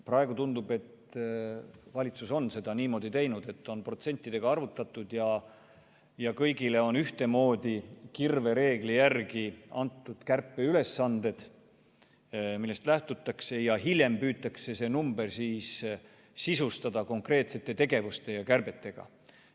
Praegu tundub, et valitsus on seda niimoodi teinud, et on protsentidega arvutatud ja kõigile on ühtemoodi kirvereegli järgi antud kärpeülesanded, millest lähtutakse, ja hiljem püütakse see number sisustada konkreetsete tegevuste ja kärbetega.